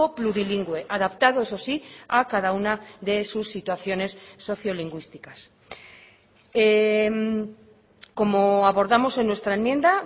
plurilingüe adaptado eso sí a cada una de sus situaciones sociolingüísticas como abordamos en nuestra enmienda